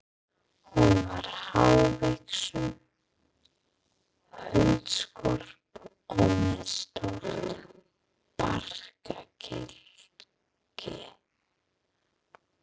Hún var hávaxin, holdskörp og með stórt barkakýli.